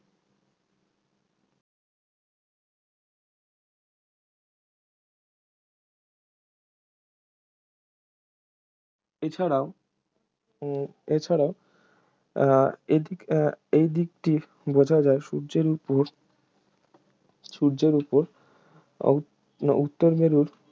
এছাড়াও উহ এছাড়াও আহ এই দিক আহ এই দিকটির বোঝা যায় সূর্যের উপর সূর্যের উপর অ মানে উত্তর মেরুর